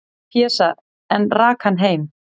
"""Pésa, en rak hann heim."""